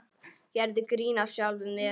Gerðu grín að sjálfum þér.